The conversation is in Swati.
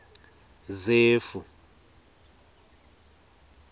zefu